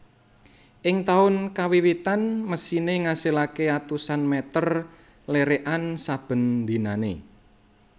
Ing taun kawiwitan mesine ngasilake atusan meter lerekan saben dinane